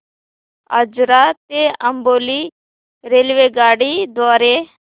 आजरा ते अंबोली रेल्वेगाडी द्वारे